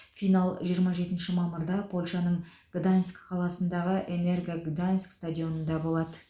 финал жиырма жетінші мамырда польшаның гданьск қаласындағы энерга гданьск стадионында болады